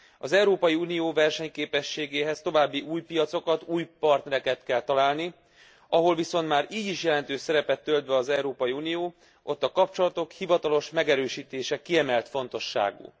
Az Európai Unió versenyképességéhez további új piacokat, új partnereket kell találni, ahol viszont már így is jelentős szerepet tölt be az Európai Unió, ott a kapcsolatok hivatalos megerősítése kiemelt fontosságú.